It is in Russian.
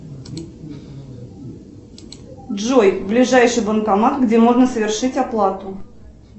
джой ближайший банкомат где можно совершить оплату